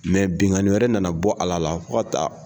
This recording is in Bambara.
Mɛ bikani wɛrɛ nana bɔ Ala la fɔ ka taa